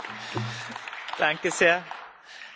Danke sehr, Herr Kommissar!